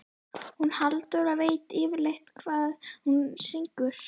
Hún Halldóra veit yfirleitt hvað hún syngur.